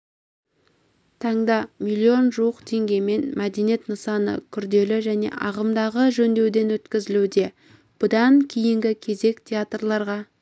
таңда миллион жуық теңгеге мәдениет нысаны күрделі және ағымдағы жөндеуден өткізілуде бұдан кейінгі кезек театрларға